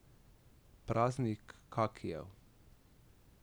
Praznik kakijev.